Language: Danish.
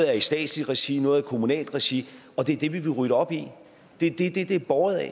er i statsligt regi noget er i kommunalt regi og det er det vi vil rydde op i det er det det er båret af